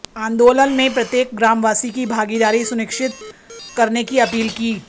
आंदोलन में प्रत्येक ग्रामवासी की भागीदारी सुनिश्चित करने की अपील की